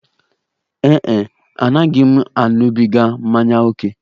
Ee e, anaghị m aṅụbiga mmanya ókè.